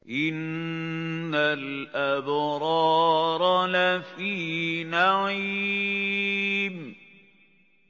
إِنَّ الْأَبْرَارَ لَفِي نَعِيمٍ